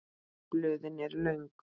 Blöðin eru löng.